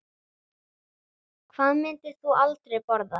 Hvað myndir þú aldrei borða?